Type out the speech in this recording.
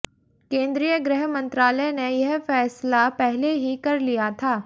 केन्द्रीय गृहमंत्रालय ने यह फैसला पहले ही कर लिया था